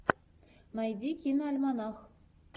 найди киноальманах